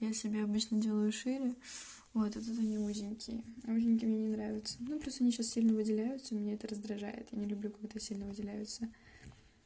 я себе обычно делаю шире вот а тут они узенькие узенькие мне не нравятся ну просто они сейчас сильно выделяются меня это раздражает я не люблю когда сильно выделяются